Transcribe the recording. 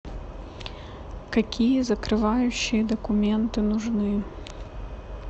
какие закрывающие документы нужны